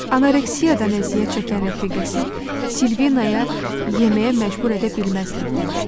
Anoreksiyadan əziyyət çəkən rəfiqəsi Silvinaya yeməyə məcbur edə bilməzlər demişdi.